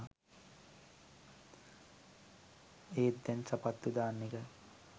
ඒත් දැන් සපත්තු දාන එක